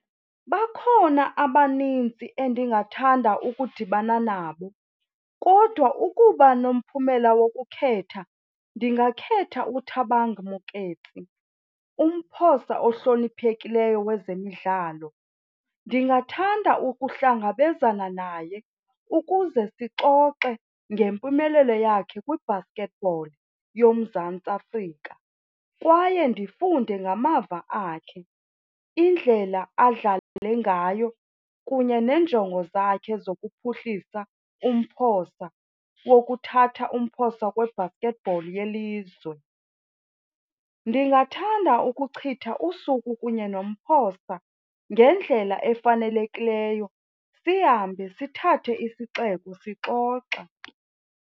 Bakhona abanintsi endingathanda ukudibana nabo kodwa ukuba nomphumela wokukhetha ndingakhetha uThabang Moeketsi, umphosa ohloniphekileyo wezemidlalo. Ndingathanda ukuhlangabezana naye ukuze sixoxe ngempumelelo yakhe kwi-basketball yoMzantsi Afrika kwaye ndifunde ngamava akhe indlela adlale ngayo kunye neenjongo zakhe zokuphuhlisa umphosa wokuthatha umphosa we-basketball yelizwe. Ndingathanda ukuchitha usuku kunye nomphosa ngendlela efanelekileyo sihambe sithathe isixeko sixoxa.